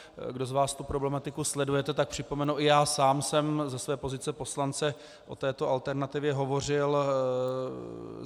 Kdo z vás tu problematiku sledujete, tak připomenu, i já sám jsem ze své pozice poslance o této alternativě hovořil.